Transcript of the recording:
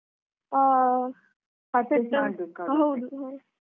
ಹಾ .